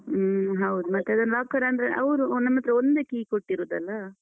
ಹ್ಮ ಹೌದ್ ಮತ್ತೆ ಅದನ್ locker ಅಂದ್ರೆ ಅವ್ರು ನಮ್ಹತ್ರ ಒಂದೇ key ಕೊಟ್ಟಿರುದಲ್ಲ?